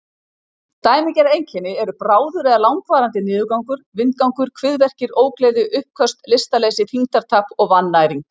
Dæmigerð einkenni eru bráður eða langvarandi niðurgangur, vindgangur, kviðverkir, ógleði, uppköst, lystarleysi, þyngdartap og vannæring.